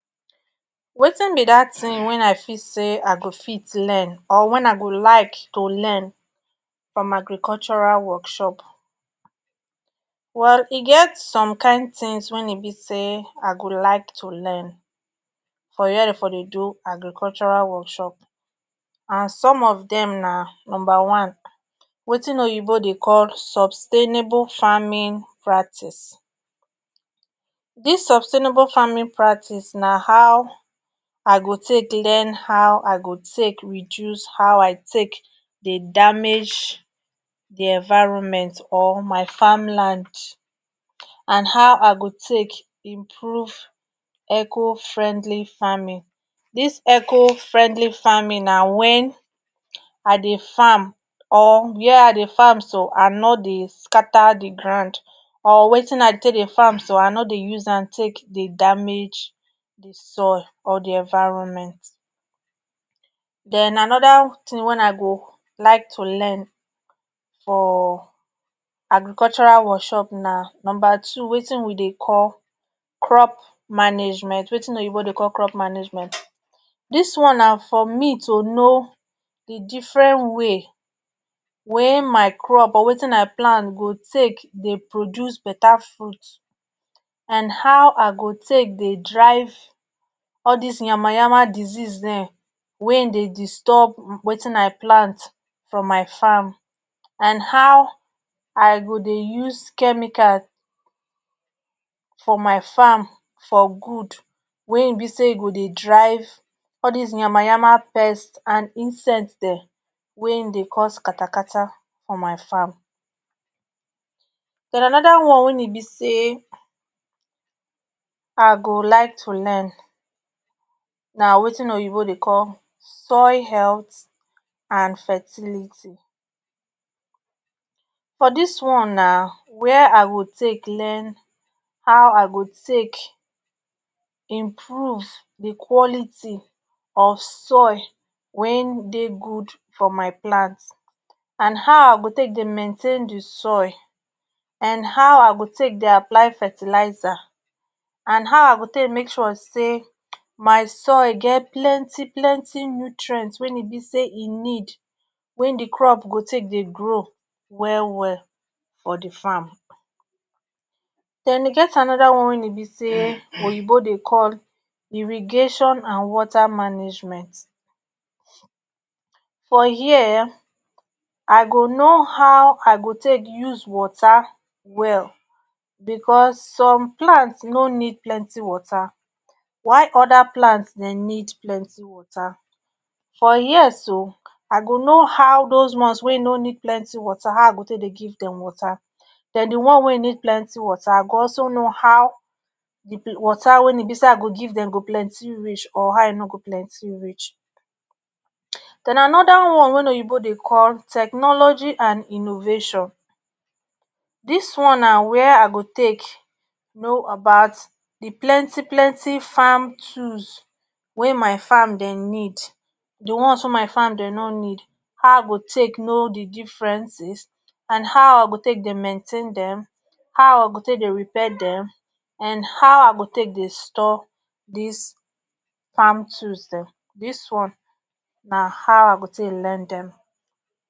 wattin be dat tin wen I feel say I go fit learn or wen I go like to learn from agricultural workshop well e get some kin tins wey e be say I go like to learn for were Dem for dey do agricultural workshop and some of Dem na numba wetin oyinbo dey call sustainable farming practice dis sustainable farming practice na how I go take learn how I go take reduce how I take dey damage di environment or my farm land and how I go take dey improve eco friendly farming dis eco friendly farming na wen I dey farm or were I dey farm so I no dey scatter di grand or wetin I take dey farm so I no dey use am take dey damage di soil or di environment Den anoda tin wen I go like to learn for agricultural workshop na numba two watin we dey call crop management wetin oyinbo dey call crop management dis one na for me to no di different way wey my crop or wetin I plant go take dey produce beta fruit and how I go take dey drive all dis yamayama disease Dem wey dey disturb wetin I plant from my farm and how I go dey use chemicals for my farm for good wey e be say e go dey drive all dis yamayama pest and insects Dem wey dey cause kata for my farm Dem anoda one wey e be say I go like to learn na wetin oyinbo dey call soil health and fertility for dis one na wey I go take learn how I go take improve di quality of soil wa dey good for my plant and how I go take dey maintain di soil and how I go take apply fertilizer and how I go take make sure say my soil get plenty plenty nutrient wey e be say e need wen den crop go take dey grow well well for di farm Den e get anoda one wey e be say oyinbo dey call irrigation and water management for here I go no how I go take use water well cause some plant no need plenty water while oda plant dey need plenty water for here so I go no how dose ones wey no need plenty water go also no how water wein be say I go give Dem go plenty reach or how e no go plenty reach den anoda one wey oyinbo dey call technology and innovation dis one na were I go take no about de plenty plenty farm tools wey my farm Dem need the one wey my farm Dem no need how I go take no Dem differences and how I go take get mentain Dem how I go take dey repair Dem and how I go take dey store dis farm tools Dem dis one na how I go take learn Dem